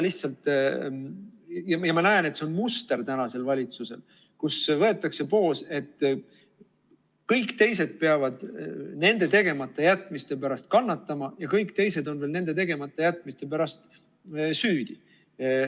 Ma näen, et see on muster tänasel valitsusel, kus võetakse poos, et kõik teised peavad nende tegematajätmiste pärast kannatama ja kõik teised on veel nende tegematajätmiste pärast süüdi.